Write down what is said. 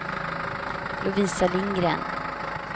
Lovisa Lindgren